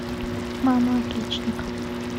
мама отличника